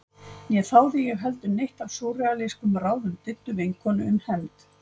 Né þáði ég heldur neitt af súrrealískum ráðum Diddu vinkonu um hefnd.